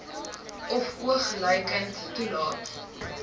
of oogluikend toelaat